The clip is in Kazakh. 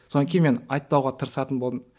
содан кейін мен айтпауға тырысатын болдым